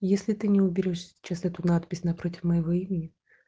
если ты не уберёшь сейчас эту надпись напротив моего имени